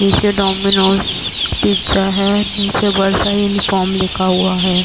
नीचे Domino's pizza है। नीचे बड़ा सा यूनिफार्म लिखा हुआ है।